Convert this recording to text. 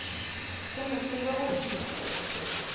ke mo tsebe go fihla